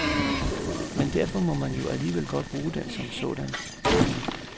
Men derfor må man jo alligevel godt bruge den som sådan. punktum